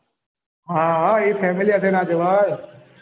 હા હા એ family હાથે ના જવાયે